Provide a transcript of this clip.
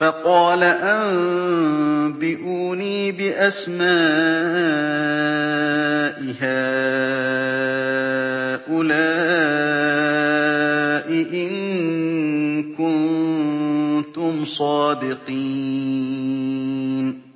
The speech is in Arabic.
فَقَالَ أَنبِئُونِي بِأَسْمَاءِ هَٰؤُلَاءِ إِن كُنتُمْ صَادِقِينَ